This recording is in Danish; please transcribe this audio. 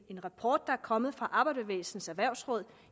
en rapport der er kommet fra arbejderbevægelsens erhvervsråd